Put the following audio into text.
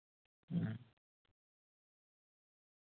ഉം